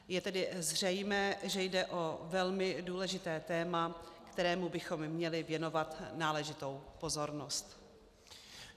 Je tedy zřejmé, že jde o velmi důležité téma, kterému bychom měli věnovat náležitou pozornost.